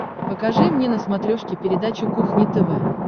покажи мне на смотрешке передачу кухня тв